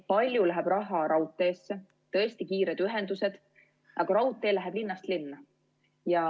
Palju läheb raha raudteesse, tõesti kiired ühendused, aga raudtee läheb linnast linna.